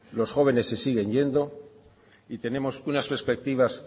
los jóvenes se siguen yendo y tenemos unas perspectivas